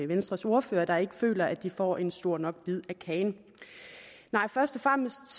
venstres ordfører der ikke føler at de får en stor nok bid af kagen nej først og fremmest